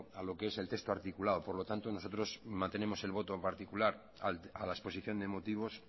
a lo que es el texto articulado por lo tanto nosotros mantenemos el voto en particular a la exposición de motivos